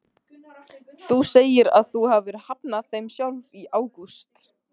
Þú segir að þú hafir hafnað þeim sjálf í ágúst?